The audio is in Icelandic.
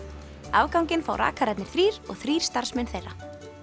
afganginn fá rakararnir þrír og þrír starfsmenn þeirra